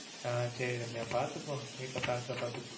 ஆஹ் சரி ரம்யா பாத்துக்கோ வீட்ல பாத்துக்கோ.